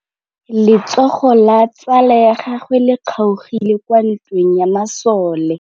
Letsôgô la tsala ya gagwe le kgaogile kwa ntweng ya masole.